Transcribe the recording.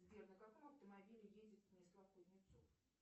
сбер на каком автомобиле ездит станислав кузнецов